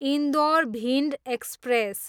Indore, Bhind express